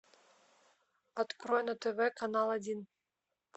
открой на тв канал один